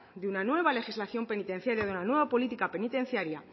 de una nueva legislación penitenciaria y de una nueva política penitenciaria